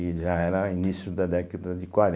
E já era início da década de